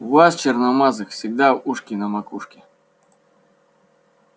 у вас черномазых всегда ушки на макушке